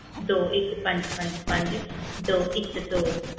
ਦੋ ਇੱਕ ਪੰਜ ਪੰਜ ਪੰਜ ਦੋ ਇੱਕ ਦੋ।